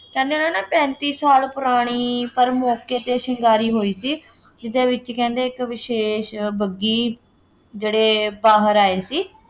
ਕਹਿੰਦੇ ਉਹਨਾ ਨੇ ਪੈਂਤੀ ਸਾਲ ਪੁਰਾਣੀ ਪਰ ਮੌਕੇ ’ਤੇ ਸ਼ਿੰਗਾਰੀ ਹੋਈ ਸੀ ਜਿਹਦੇ ਵਿੱਚ ਕਹਿੰਦੇ ਇੱਕ ਵਿਸ਼ੇਸ਼ ਬੱਘੀ ਜਿਹੜੇ ਬਾਹਰ ਆਏ ਸੀ।